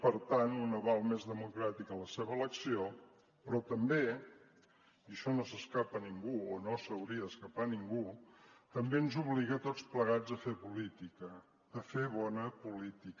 per tant un aval més democràtic a la seva elecció però també i això no s’escapa a ningú o no s’hauria d’escapar a ningú també ens obliga a tots plegats a fer política a fer bona política